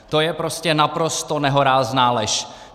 To je prostě naprosto nehorázná lež!